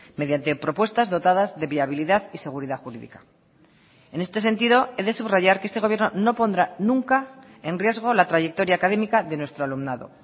mediante propuestas dotadas de viabilidad y seguridad jurídica en este sentido he de subrayar que este gobierno no pondrá nunca en riesgo la trayectoria académica de nuestro alumnado